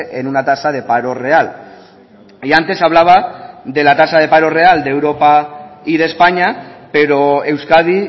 en una tasa de paro real y antes hablaba de la tasa de paro real de europa y de españa pero euskadi